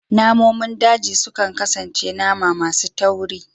Namomin daji sukan kasance nama masu tauri